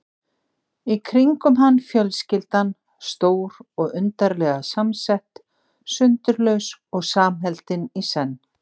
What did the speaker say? Í kringum hann fjölskyldan, stór og undarlega samsett, sundurlaus og samheldin í senn.